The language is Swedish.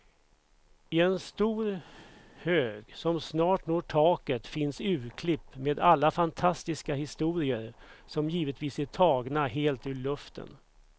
I en stor hög som snart når taket finns urklipp med alla fantastiska historier, som givetvis är tagna helt ur luften.